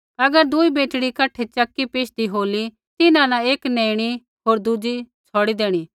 अगर दुई बेटड़ी कठै चक्की पीशदी होली तिन्हां न एक नेईणी होर दुज़ी छ़ौड़ी देईणी